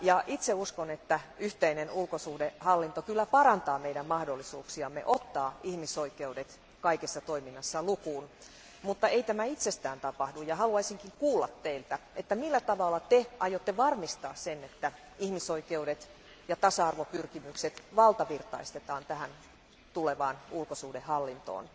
Itse uskon että yhteinen ulkosuhdehallinto kyllä parantaa meidän mahdollisuuksiamme ottaa ihmisoikeudet kaikessa toiminnassa huomioon, mutta ei tämä itsestään tapahdu. Haluaisinkin kuulla teiltä, millä tavalla te aiotte varmistaa sen, että ihmisoikeudet ja tasa arvopyrkimykset valtavirtaistetaan tähän tulevaan ulkosuhdehallintoon.